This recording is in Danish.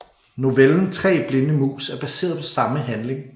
Novellen Tre blinde mus er baseret på samme handling